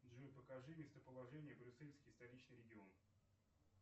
джой покажи местоположение брюссельский столичный регион